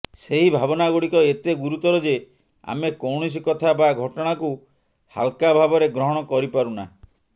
ସେହି ଭାବନାଗୁଡ଼ିକ ଏତେ ଗୁରୁତର ଯେ ଆମେ କୌଣସି କଥା ବା ଘଟଣାକୁ ହାଲ୍କା ଭାବରେ ଗ୍ରହଣ କରିପାରୁନା